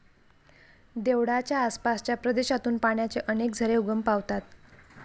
देवळाच्या आसपासच्या प्रदेशातून पाण्याचे अनेक झरे उगम पावतात.